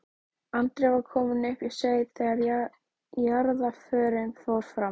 Andri var kominn upp í sveit þegar jarðarförin fór fram.